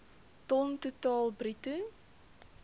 ton totaal bruto